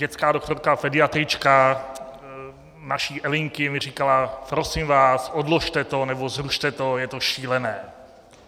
Dětská doktorka, pediatrička, naší Elinky mi říkala - prosím vás, odložte to nebo zrušte to, je to šílené.